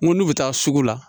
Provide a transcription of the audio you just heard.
N ko n'u bɛ taa sugu la